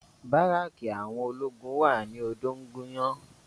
Báràkì àwọn ológun wà ní odóńgúnyán